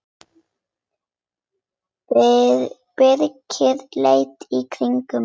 Birkir leit í kringum sig.